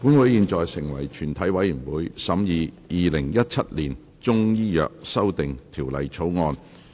本會現在成為全體委員會，審議《2017年中醫藥條例草案》。